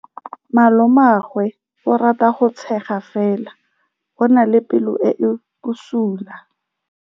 Malomagwe o rata go tshega fela o na le pelo e e bosula.